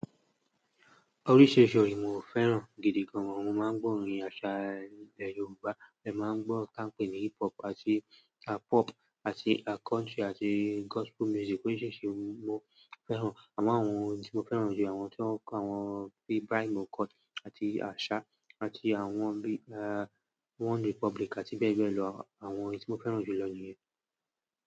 Oríṣìíríṣìí ohun mi ò fẹ́ràn gidi gan. Mo máa ń gbọ́ orin àṣa Yorùbá, ẹ máa ń gbọ́ tí a pé ní hip hop àti pop àti country àti gospel music oríṣìíríṣìí ohun mo fẹ́ràn. Àmo awọn ohun tí mo fẹ́ràn jù ni àwọn tí wọ́n pé bi Brian McKnight àti Asha àti àwọn OneRepublic àti bẹ́ẹ̀ bẹ́ẹ̀ lọ. Àwọn èyíi tí mo fẹ́ràn jù lọ níyẹn.